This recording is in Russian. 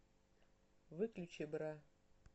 выключи бра